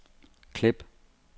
klip